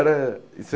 Era em